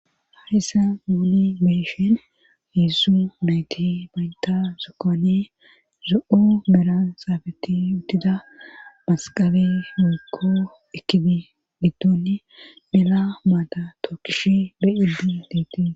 haarisa muli meeshen hieszu nayti baynta sokkoane zo7o mera saafeti utida masqabe miikko ekidi giddoni mela maata tookkish beyidu diiti